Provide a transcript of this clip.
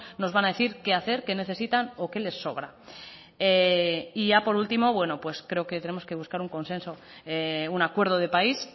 nos van a decir qué hacer qué necesitan o qué les sobra y ya por último bueno pues creo que tenemos que buscar un consenso un acuerdo de país